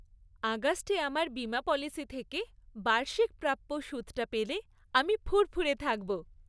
আগস্টে আমার বিমা পলিসি থেকে বার্ষিক প্রাপ্য সুদটা পেলে আমি ফুরফুরে থাকব।